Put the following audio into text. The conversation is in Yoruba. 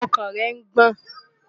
Ọkàn rẹ̀ ń gbọ̀n.